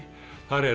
þar er